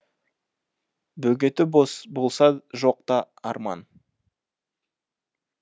бөгеті болса жоқ та арман